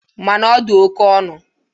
Mana ọ dị oke ọnụ.